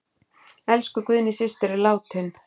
Elsku Guðný systir er látin.